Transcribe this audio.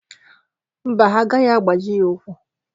Mba, ha agaghị abaji ya ụ́kwụ́.